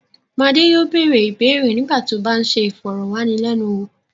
Madé yóò bẹ̀rẹ̀ ìbéèrè nígbà tí ó bá ń ṣe ìfọ̀rọ̀wánilẹ́nuwò.